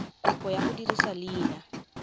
kopo ya go dirisa leina